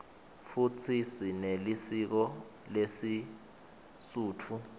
futsi sinelisiko lesisutfu